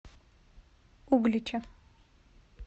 углича